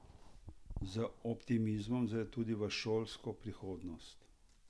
Z optimizmom zre tudi v šolsko prihodnost.